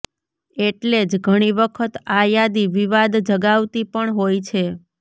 એટલે જ ઘણી વખત આ યાદી વિવાદ જગાવતી પણ હોય છે